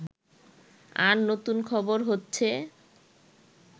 আর নতুন খবর হচ্ছে